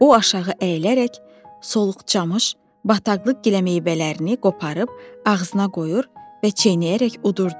O aşağı əyilərək, soluq çamış bataqlıq giləmeyvələrini qoparıb ağzına qoyur və çeynəyərək yudurdu.